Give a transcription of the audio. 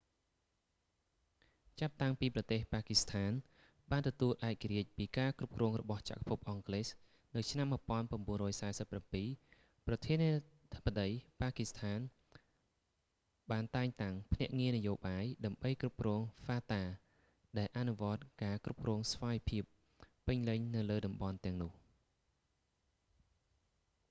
ចាប់តាំងពីប្រទេស ប៉ាគីស្ថាន ទទួលបានឯករាជ្យពីការគ្រប់គ្រងរបស់ចក្រភពអង់គ្លេសនៅឆ្នាំ 1947 ប្រធានាធិបតី ប៉ាគីស្ថានបានតែងតាំង ភ្នាក់ងារនយោបាយ ដើម្បីគ្រប់គ្រង fata ដែលអនុវត្តការគ្រប់គ្រងស្វ័យភាពពេញលេញនៅលើតំបន់ទាំងនោះ